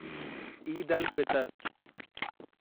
Eid al Fitr